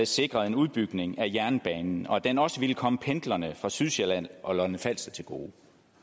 sikrede en udbygning af jernbanen og at den også ville komme pendlerne fra sydsjælland og lolland falster til gode